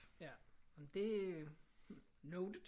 Ja. Jamen det er noted